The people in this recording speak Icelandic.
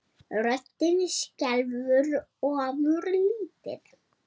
Röddin skelfur ofurlítið.